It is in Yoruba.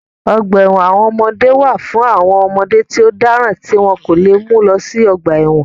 Ọgbà ẹ̀wọ̀n àwọn ọmọdé wà fún àwọn ọmọdé tí ó dáràn tí wọ́n kò lè mú lọ sí ọgbà ẹ̀wọ̀n